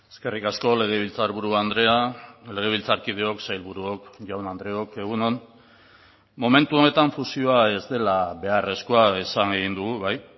eskerrik asko legebiltzarburu andrea legebiltzarkideok sailburuok jaun andreok egun on momentu honetan fusioa ez dela beharrezkoa esan egin dugu bai